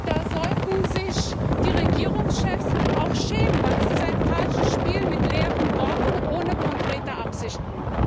Da sollten sich die Regierungschefs schämen, denn es ist ein falsches Spiel mit leeren Worten, ohne konkrete Absichten.